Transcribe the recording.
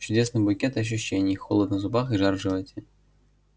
чудесный букет ощущений холод на зубах и жар в животе